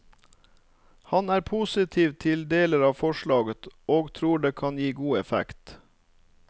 Han er positiv til deler av forslaget og tror det kan gi god effekt.